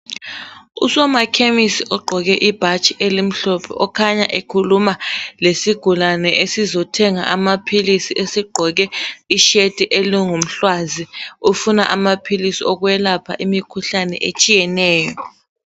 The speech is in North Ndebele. Usomakhemisi ogqoke ibhatshi elimhlophe okhanya ekhuluma lesigulane esizothenga amaphilisi esigqoke isheti elingumhlwazi ufuna amaphilisi okwelapha imikhuhlane etshiyeneyo.